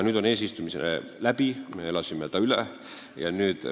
Nüüd on eesistumine läbi, me elasime selle üle.